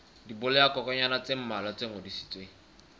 dibolayakokwanyana tse mmalwa tse ngodisitsweng